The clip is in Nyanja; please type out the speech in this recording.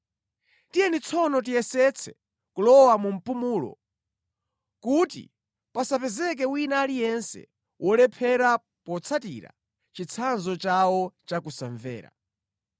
Tiyeni tsono tiyesetse kulowa mu mpumulo, kuti pasapezeke wina aliyense wolephera potsatira chitsanzo chawo cha kusamvera.